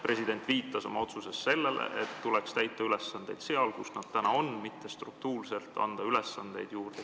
President viitas oma otsuses sellele, et ülesandeid tuleks täita sellel, kellel need täna on, mitte anda struktuurselt Kaitseväele ülesandeid juurde.